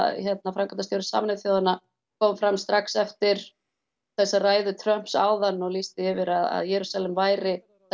framkvæmdastjóri Sameinuðu þjóðanna kom fram strax eftir þessa ræðu Trumps áðan og lýsti yfir að Jerúsalem væri